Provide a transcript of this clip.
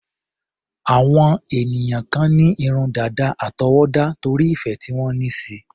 Àwọn ènìyàn kan ní irun dàda àtọwọ́dá, torí ìfẹ́ tí wọ́n ní síi.